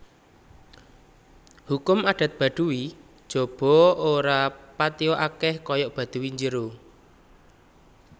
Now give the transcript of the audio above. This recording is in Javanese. Hukum adat Baduy Jaba ora patia akèh kaya Baduy Jero